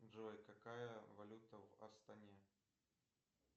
джой какая валюта в астане